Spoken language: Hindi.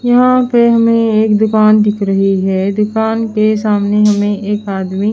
यहां पे हमें एक दुकान दिख रही है दुकान के सामने हमें एक आदमी--